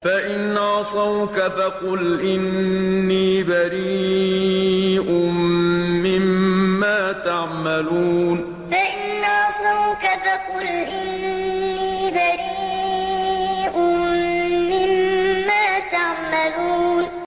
فَإِنْ عَصَوْكَ فَقُلْ إِنِّي بَرِيءٌ مِّمَّا تَعْمَلُونَ فَإِنْ عَصَوْكَ فَقُلْ إِنِّي بَرِيءٌ مِّمَّا تَعْمَلُونَ